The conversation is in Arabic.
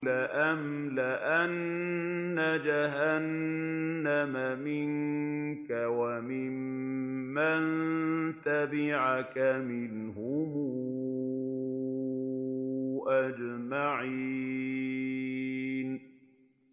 لَأَمْلَأَنَّ جَهَنَّمَ مِنكَ وَمِمَّن تَبِعَكَ مِنْهُمْ أَجْمَعِينَ